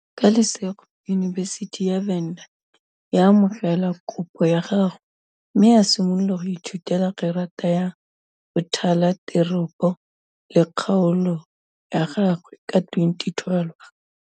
Ka lesego, yunibesithi ya Venda ya amogela kopo ya gagwe mme a simolola go ithutela Gerata ya Bothala Teropo le Kgaolo ya gagwe ka 2012.